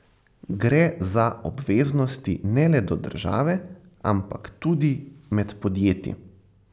Gre za obveznosti ne le do države, ampak tudi med podjetji.